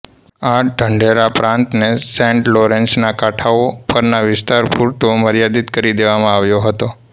આ ઢંઢેરામાં પ્રાંતને સેન્ટ લોરેન્સના કાંઠાઓ પરના વિસ્તાર પૂરતો મર્યાદિત કરી દેવામાં આવ્યો હતો